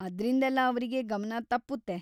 ಅದ್ರಿಂದೆಲ್ಲ ಅವ್ರಿಗೆ ಗಮನ ತಪ್ಪುತ್ತೆ.